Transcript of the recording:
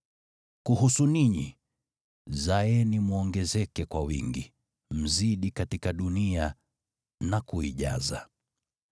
Kuhusu ninyi, zaeni mwongezeke kwa wingi, mzidi katika dunia na kuijaza.”